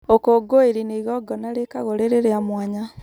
ũkũngũĩri nĩ igongona rĩkagwo rĩrĩ rĩa mwanya